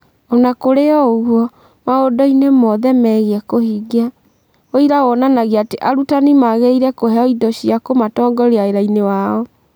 O na kũrĩ ũguo, maũndũ-inĩ mothe megiĩ kũhingia, ũira wonanagia atĩ arutani magĩrĩire kũheo indo cia kũmatongoria wĩra-inĩ wao.